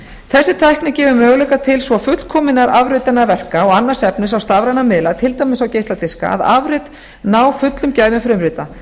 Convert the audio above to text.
þessi tækni gefur möguleika til svo fullkominnar afritunar verka og annars efnis á stafræna miðla til dæmis á geisladiska að afrit ná fullum gæðum frumrita